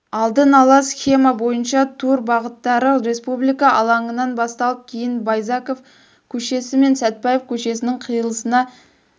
алдын ала схема бойынша тур бағыттары республика алаңынан басталып кейін байзақов көшесі мен сәтпаев көшесінің қиылысына